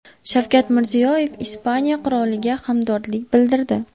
Shavkat Mirziyoyev Ispaniya qiroliga hamdardlik bildirdi.